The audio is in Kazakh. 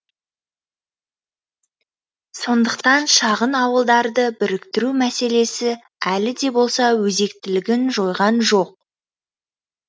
сондықтан шағын ауылдарды біріктіру мәселесі әлі де болса өзектілігін жойған жоқ